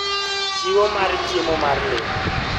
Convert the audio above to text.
Chiwo mar chiemo mar le